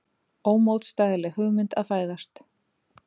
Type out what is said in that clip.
Ómótstæðileg hugmynd að fæðast.